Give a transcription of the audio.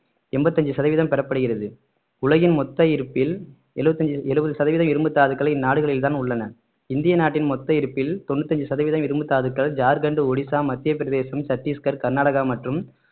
எண்பத்தி அஞ்சு சதவீதம் பெறப்படுகிறது உலகின் மொத்த இருப்பில் எழுபதஞ்சு எழுபது சதவீத இரும்புத்தாதுக்கள் இந்நாடுகளில்தான் உள்ளன இந்திய நாட்டின் மொத்த இருப்பில் தொண்ணூற்று ஐந்து சதவீதம் இரும்புத்தாதுக்கள் ஜார்கண்ட் ஒடிசா மத்திய பிரதேசம் சட்டீஸ்கர் கர்நாடகா மற்றும்